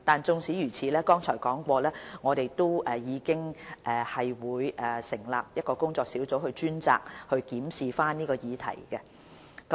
縱使如此，正如剛才提及，我們會成立工作小組，專責檢視這議題。